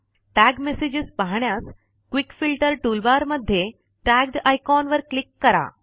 tag messages पाहण्यास quick filter toolbar मध्ये tagged icon वर क्लिक करा